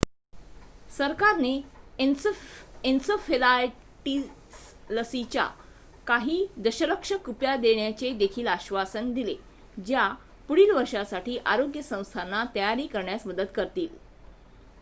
सरकारने एन्सेफलायटिसलसीच्या काही दशलक्ष कुप्या देण्याचेदेखील आश्वासन दिले ज्या पुढीलवर्षासाठी आरोग्य संस्थांना तयारी करण्यास मदत करतील